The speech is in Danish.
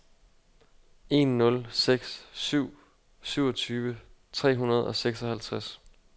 en nul seks syv syvogtyve tre hundrede og seksoghalvtreds